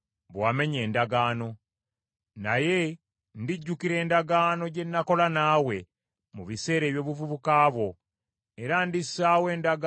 Naye ndijjukira endagaano gye nakola naawe mu biseera eby’obuvubuka bwo, era ndissaawo endagaano ey’emirembe n’emirembe.